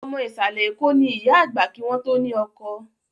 Ọmọ Ìsàlẹ̀ Eko ni ìyá àgbà kí wọn to ni ọkọ